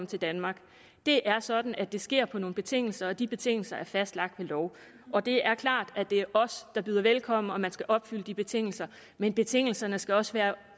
til danmark det er sådan at det sker på nogle betingelser og de betingelser er fastlagt ved lov og det er klart at det er os der byder velkommen og at man skal opfylde de betingelser men betingelserne skal også være